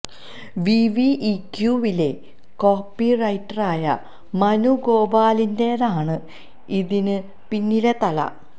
വിവിഇക്യുവിലെ copy റൈറ്ററായ മനു ഗോപാലിന്റേതാണ് ഇതിന് പിന്നിലെ തല